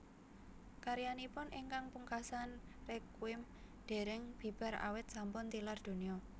Karyanipun ingkang pungkasan Requiem dèrèng bibar awit sampun tilar donya